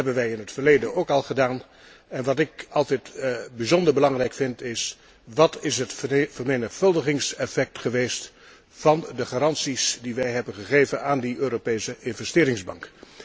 Dat hebben wij in het verleden ook al gedaan, en wat ik altijd bijzonder belangrijk vind is wat is het vermenigvuldigingseffect geweest van de garanties die wij hebben gegeven aan die Europese Investeringsbank?